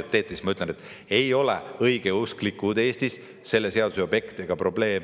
kampaaniat teete, siis, et ei ole õigeusklikud Eestis selle seaduse objekt ega probleem.